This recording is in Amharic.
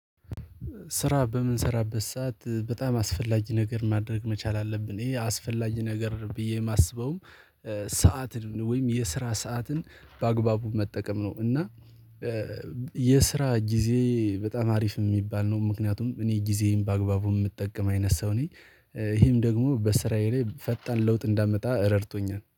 ስራ በምንሰራበት ሰዓት በጣም አስፈላጊ ነገር ማድረግ መቻል አለብን። ይሄ አስፈላጊ ነገር ብዬ የማስበውም ሰዓትን ወይም የስራ ሰዓትን በአግባቡ መጠቀም ነው። እና የስራ ጊዜ በጣም አሪፍ የሚባል ነው። ምክንያቱም እኔ ጊዜም በአግባቡ የምጠቀም አይነት ሰው ነኝ። ይሄም ደግሞ በስራዬ ላይ ፈጣን ለውጥ እንዳመጣ ረድቶኛል